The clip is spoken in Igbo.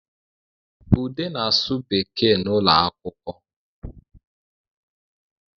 Ude na-asụ Bekee ụlọ akwụkwọ